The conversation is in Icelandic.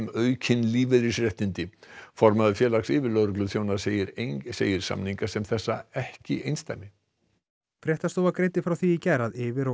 aukin lífeyrisréttindi formaður Félags yfirlögregluþjóna segir segir samninga sem þessa ekki einsdæmi fréttastofa greindi frá því í gær að yfir og